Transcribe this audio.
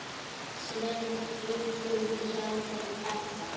Sveinn bjuggum hjá þeim pabba.